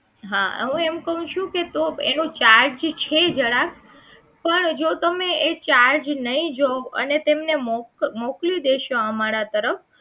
હા હું એમ કહું છું કે તો એનો charge છે જરાક પણ જો તમે એ charge નહીં જોવો અને તેમને મોકલ મોકલી દેશો અમારા તરફ